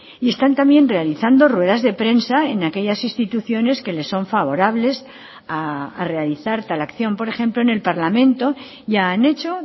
y están también realizando ruedas de prensa en aquellas instituciones que les son favorables a realizar tal acción por ejemplo en el parlamento ya han hecho